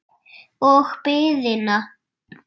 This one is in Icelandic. Og biðina.